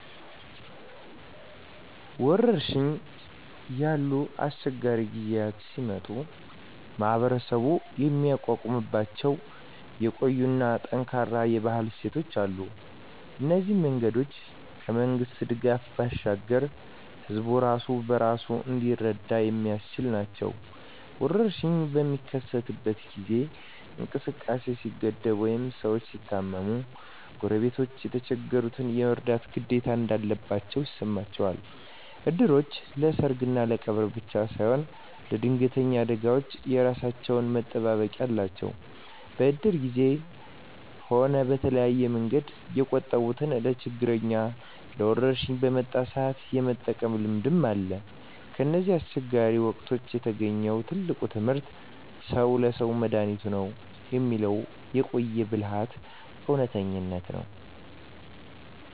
ወረርሽኝ ያሉ አስቸጋሪ ጊዜያት ሲመጡ ማኅበረሰቡ የሚቋቋምባቸው የቆዩና ጠንካራ የባህል እሴቶች አሉ። እነዚህ መንገዶች ከመንግሥት ድጋፍ ባሻገር ሕዝቡ ራሱን በራሱ እንዲረዳ የሚያስችሉ ናቸው። ወረርሽኝ በሚከሰትበት ጊዜ እንቅስቃሴ ሲገደብ ወይም ሰዎች ሲታመሙ፣ ጎረቤቶች የተቸገሩትን የመርዳት ግዴታ እንዳለባቸው ይሰማቸዋል። እድሮች ለሰርግና ለቀብር ብቻ ሳይሆን ለድንገተኛ አደጋዎችም የራሳቸው መጠባበቂያ አላቸው። በእድር ጊዜም ሆነ በተለያየ መንገድ የቆጠቡትን ለችግርና ለወረርሽኝ በመጣ ሰአት የመጠቀም ልምድ አለ። ከእነዚህ አስቸጋሪ ወቅቶች የተገኘው ትልቁ ትምህርት "ሰው ለሰው መድኃኒቱ ነው" የሚለው የቆየ ብልሃት እውነተኝነት ነው።